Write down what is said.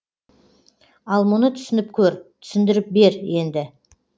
ал мұны түсініп көр түсіндіріп бер енді